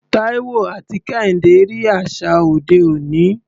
Taiwo àti Kehinde rí àṣà òde òní.